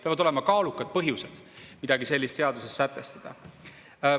Peavad olema kaalukad põhjused midagi sellist seaduses sätestada.